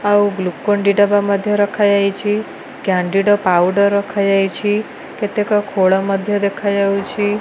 ଆଉ ଗ୍ଲୁକନଡି ଡବା ମଧ୍ୟ ରଖାଯାଇଛି କ୍ୟାଣ୍ଡିଡ ପାଉଡର ରଖାଯାଇଛି କେତେକ ଖୋଳ ମଧ୍ୟ ଦେଖାଯାଉଚି।